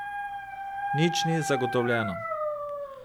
Nič ni zagotovljeno.